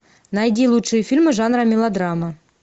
найди лучшие фильмы жанра мелодрама